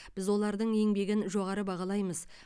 біз олардың еңбегін жоғары бағалаймыз